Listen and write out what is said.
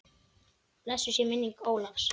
Blessuð sé minning Ólafs.